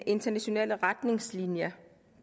internationale retningslinjer